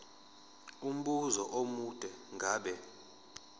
umbuzo omude ngabe